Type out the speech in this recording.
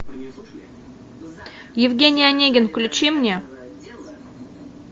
евгений онегин включи мне